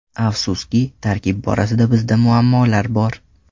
Afsuski, tarkib borasida bizda muammolar bor.